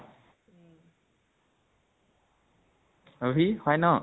অভি হয় ন?